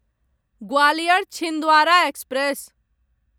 Gwalior Chhindwara express